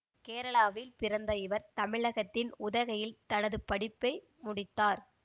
கேரளாவில் பிறந்த இவர் தமிழகத்தின் உதகையில் தனது படிப்பை முடித்தார்